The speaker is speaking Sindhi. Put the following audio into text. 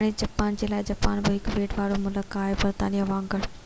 هاڻي جاپان جي لاءِ جاپان بہ هڪ ٻيٽ وارو ملڪ هو برطانيا وانگر